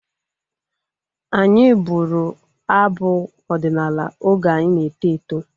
Anyị bụrụ abụ ọdịnala oge anyị na-eto eto